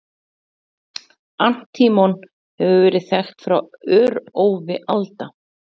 Antímon hefur verið þekkt frá örófi alda.